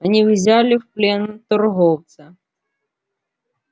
они взяли в плен торговца